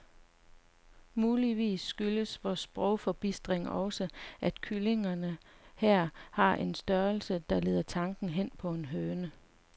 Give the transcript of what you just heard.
Muligvis skyldes vor sprogforbistring også, at kyllingerne her har en størrelse, der leder tanken hen på en høne.